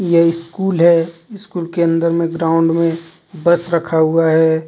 यह स्कूल है स्कूल के अंदर में ग्राउंड में बस रखा हुआ है.